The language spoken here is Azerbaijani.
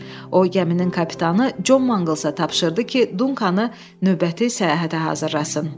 O gəminin kapitanı Con Manqalsa tapşırdı ki, Dunkanı növbəti səyahətə hazırlasın.